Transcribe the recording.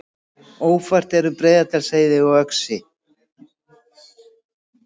Ófært er um Breiðdalsheiði og Öxi